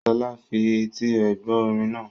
Sola fi etí rẹ̀ gbọ́ orin náà.